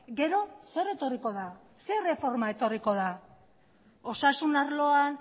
gero zer etorriko da zer erreforma etorriko da osasun arloan